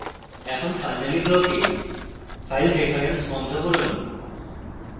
এখন finally block এ file reference বন্ধ করুন